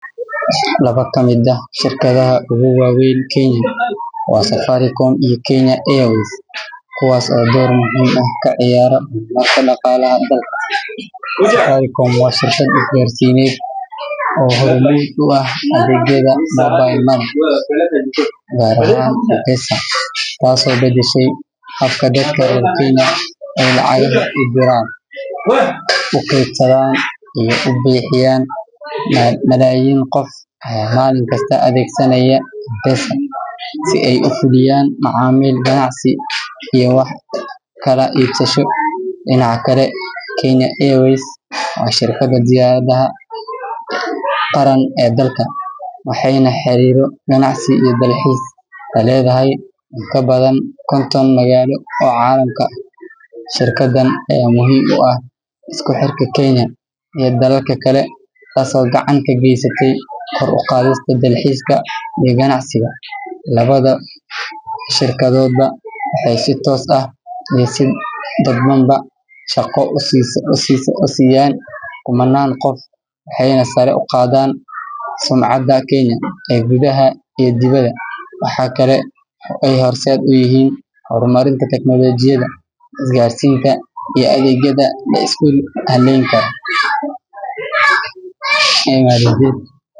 Laba ka mid ah shirkadaha ugu waaweyn Kenya waa Safaricom iyo Kenya Airways, kuwaas oo door muhiim ah ka ciyaara horumarka dhaqaalaha dalka. Safaricom waa shirkad isgaarsiineed oo hormuud u ah adeegyada mobile money gaar ahaan M-Pesa, taasoo beddeshay habka dadka reer Kenya ay lacagaha u diraan, u kaydsadaan iyo u bixiyaan. Malaayiin qof ayaa maalin kasta adeegsanaya M-Pesa si ay u fuliyaan macaamil ganacsi iyo wax kala iibsasho. Dhinaca kale, Kenya Airways waa shirkadda diyaaradaha qaran ee dalka, waxayna xiriiro ganacsi iyo dalxiis la leedahay in ka badan konton magaalo oo caalamka ah. Shirkaddan ayaa muhiim u ah isku xirka Kenya iyo dalalka kale, taasoo gacan ka geysatay kor u qaadista dalxiiska iyo ganacsiga. Labada shirkadoodba waxay si toos ah iyo si dadbanba shaqo u siiyaan kumannaan qof, waxayna sare u qaadaan sumcadda Kenya ee gudaha iyo dibadda. Waxa kale oo ay horseed u yihiin horumarinta tiknoolajiyada, isgaarsiinta, iyo adeegyada la isku halleyn karo.